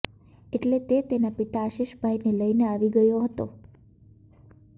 એટલે તે તેનાં પિતા આશીષભાઈને લઈને આવી ગયો હતો